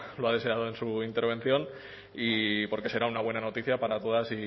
lo ha deseado en su intervención porque será una buena noticia para todas